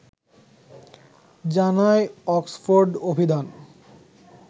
জানায় অক্সফোর্ড অভিধান